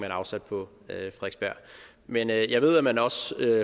har afsat på frederiksberg men jeg ved at man også